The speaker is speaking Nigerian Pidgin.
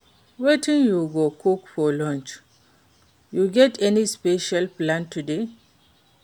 Wetin you go cook for lunch? You get any special plan today?